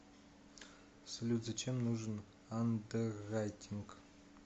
салют зачем нужен андеррайтинг